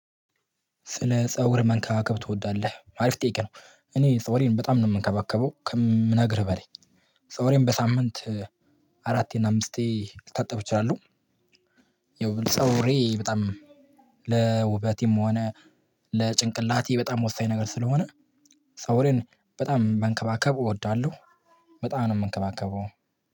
ስለ ፀጉር መንከባከብ ትወዳለህ አሪፍ ጥያቅ ነው? እኔ ፀጉሬን በጣም ነው የምንከባከበው ከምነግርህ በላይ ፀጉሬን በሳምንት አራቴና አምስቴ ልታጠብ እችላለሁ። ይኸው ፀጉሬ ለውበቴም ሆነ ለጭንቅላቴ በጣም ወሳኝ ነገር ስለሆነ ፀጉሬን በጣም መንከባከብ እወዳለሁ። በጣም ነው ምንከባከበው።